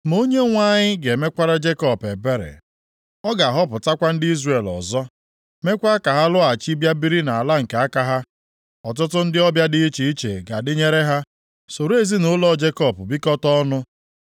Ma Onyenwe anyị ga-emekwara Jekọb ebere; ọ ga-ahọpụtakwa ndị Izrel ọzọ, meekwa ka ha lọghachi bịa biri nʼala nke aka ha. Ọtụtụ ndị ọbịa dị iche iche ga-adịnyere ha, soro ezinaụlọ Jekọb bikọtaa ọnụ.